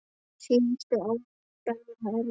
Síðustu ár voru Benna erfið.